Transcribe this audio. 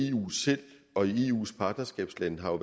eu selv og i eus partnerskabslande har